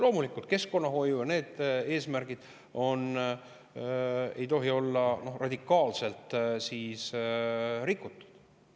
Loomulikult ei tohi seejuures keskkonnahoiu eesmärgid olla radikaalselt rikutud.